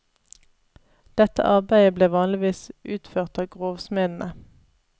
Dette arbeidet ble vanligvis utført av grovsmedene.